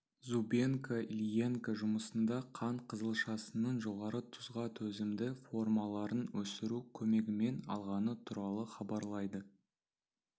зубенко ильенко жұмысында қант қызылшасының жоғары тұзға төзімді формаларын өсіру көмегімен алғаны туралы хабарлайды